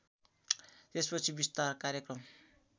यसपछि विस्तार कार्यक्रम